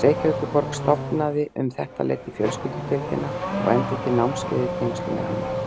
Reykjavíkurborg stofnaði um þetta leyti fjölskyldudeildina og efndi til námskeiða í tengslum við hana.